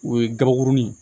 O ye gabakurunin ye